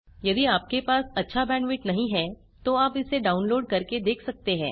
यदि आपके पास अच्छा बैंडविड्थ नहीं है तो आप इसे डाउनलोड करके देख सकते हैं